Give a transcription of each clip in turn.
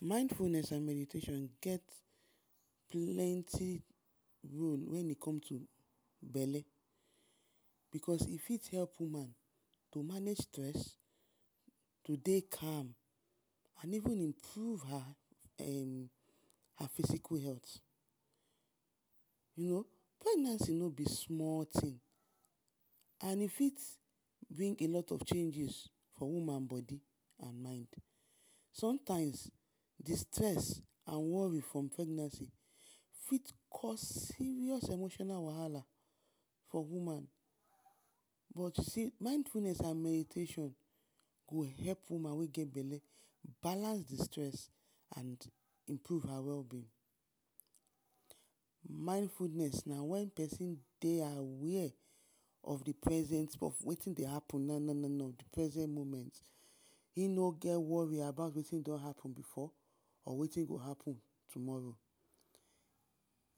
Mindfulness and meditation get plenty role wen e come to bele because e fit help woman to amnge stress, to dey calm and even improve her physical health. You no, pregnancy no be small tin and e fit bring a lot of chenges for woman bodi and mind, somtimes, the stress and wori for pregnancy fit cause serious emotional wahala for woman but you see, mindfulness and meditation go help woman wey get bele balance the stress and improve her wellbeing. Mindfulness na wen pesin dey aware of the present of wetin dey happen na-na-na of the present moment, e no get wori about wetin don happen before and wetin go happen tomoro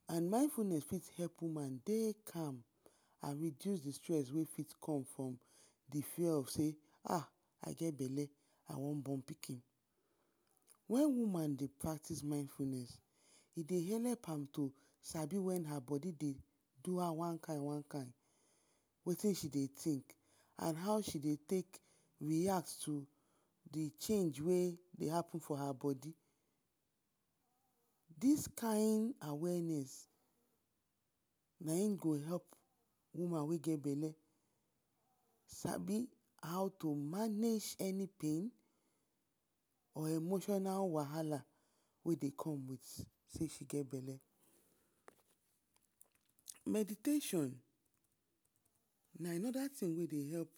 and mindfulness fit help woman dey calm, and reduce the stress wey fit come from the far of sey ahhhhh! I get bele, I wan bon pikin. Wen woman dey practice mindfulnes, e dey helep am to sabi wen her bodi dey do am one-kind, one-kind, wetin she dey tink and how she dey take react to the change wey dey happen for her bodi. Dis kind awareness na in go help woman wey get bele sabi to mange any bein or emotional wahala wey dey come with sey she get bele. Meditation na anoda tin wey dey help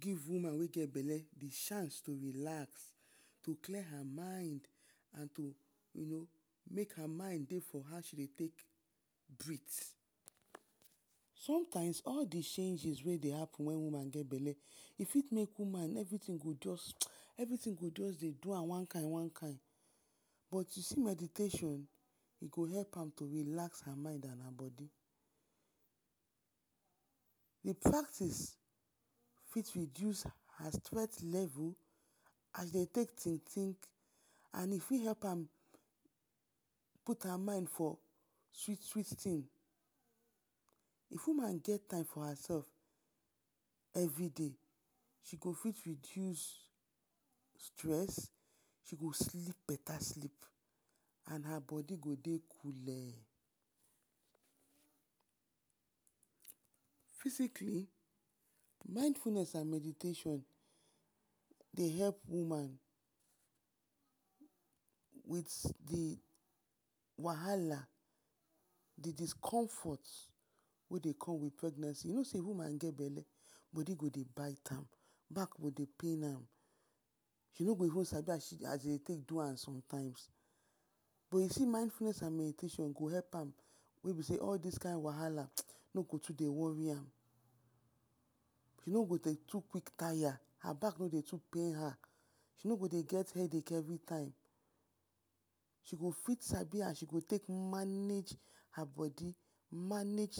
give woman wey get bele the chance to relax, to clear her mind and make her mind dey for how she dey take brith.somtime all the changes wey dey hapn wen woman get bele e fit make woman everitin go just, everi tin go [hissing] everi tin e dey do am one-kind, one kind but you see meditation, e go help her relax her mind and her bodi. The practice fit reduce her strength level as de take tink-tink and e fit help am put her mind for sweet sweet tin. If woman get time for hersef everi day, she go fit reduce stress, she go sleep beta sleep and her bodi go dey coole. fisicali, mindfulness and meditation dey help woman with the wahala, the discomfort wey dey come with pregnancy, you no sey woman get bele, bodi go dey bite am, bak go dey pain am, she no go even sabi as dem dey do am sometimes. But you see mindfuiiness and meditation go help am wey be sey all dis kind wahala no go too dey wori am, wey go dey too quik tire, her bck no go pain her, she no go dey get headache everitime, she go fit sabi as she go take mage her bodi, manage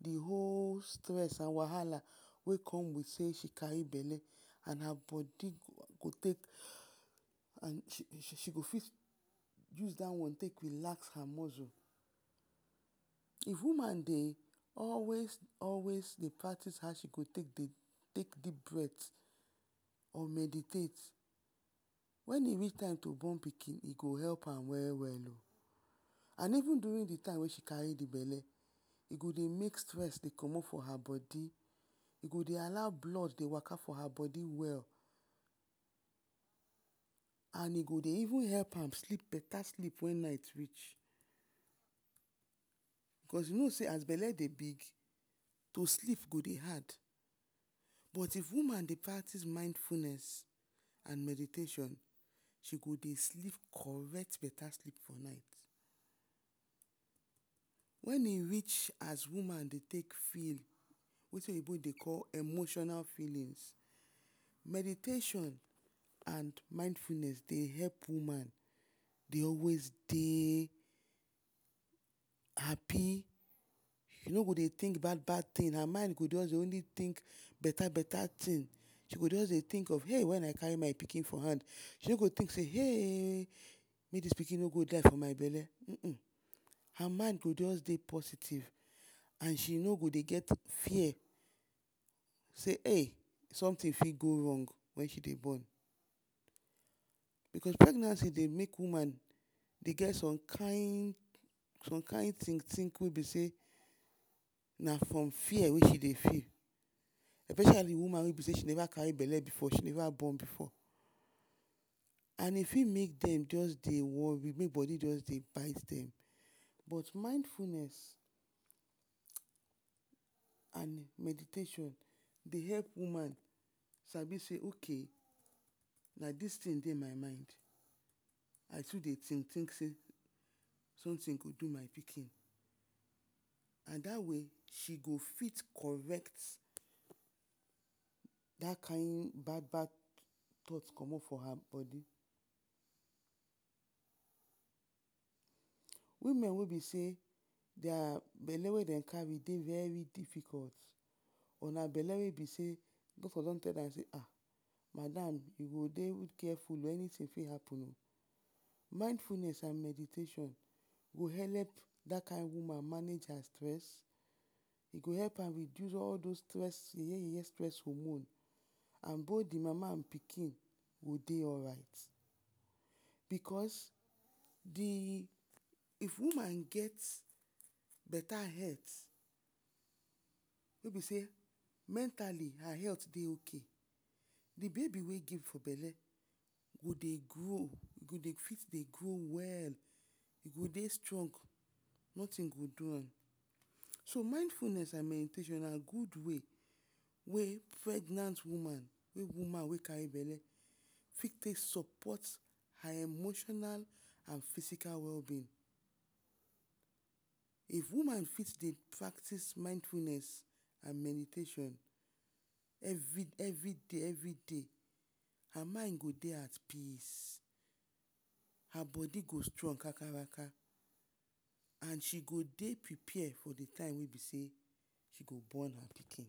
the whole stress and wahala wey come with sey she kari bele. Her body go dey yorning]she go fit use da one take relax her muscle. If woman dey always-always practice how to dey take…………?or meditate, wen e reach time to bon pikin, e go help am we-well o and even durin the time wey she kari the bele, e go dey make stress dey comot for her bodi, e go dey allow blood dey work for her bodi well and e go dey even help am sleep beta sleep wen night rich. Be cause you no sey as bele dey pain you, to sleep go dey hard but if woman dey practice mindfulness and meditation, she go dey sleep correct beta sleep wen night reach. because You no sey as bele dey big, to sleep go dey hard but if woman dey practice mindfulness and meditation, she go dey sleep correct beta sleep for night. Wen e rich as woman dey take feel, wey wetin oyibo dey call emotional feelins, meditation and mindfulness dey help woman dey always dey hapi, e no go dey tink bad-bad tin, her mind go dey always tink beta-beta tin, she go just dey tink, eh, wen I kari my pikin for hand, she no go tink, ehhhhh, make dis pikin no die for my bele um her mind go just dey positive and she no go dey get fear sey, ehh, somtin fit go rong wen she dey bon. Because pregnancy dey make woman dey get som kind tink-tink, na from fear wey she dey feel. Especially woman wey neva kari bele before, she neva bon before. And e fit make dem just dey wori, make bodi bite dem. But mindfulness and meditation dey help woman sabi sey ok, na dis tindey my mind, I too dey tink-tink sey somtin go do my pikin and dat way, she go fit correct dat kind bad-bad thought comot for her bodi. Women wey be sey di abele wey dem kari dey very difficult and na bele wey doctor don tell am sey, ahhhh, madam you go dey carefull anytin fit happen o, mindfulness and meditation go helep dat kind woman manage her stress, e go help am reduce all dos ye-ye, ye-ye stress hormone and both the mama and pikingo dey alright. Because the…? If woman get beta health, wey be sey mentali her health dey ok, the bebi wey dey for bele go dey grow, dey fit dey grow well, e go dey strong notin go do am. So mindfulness and meditation na gud way wey pregnant woman,…………? woman wey kari bele fit take sopot her emotional and fisical wellbeing. If woman fit dey practice mindfulness and meditation everi- day, everi day, her mind go dey at peace, her bodi go strong kakaraka and she go dey prepare for the time wey she go born her pikin.